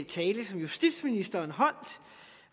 tale som justitsministeren holdt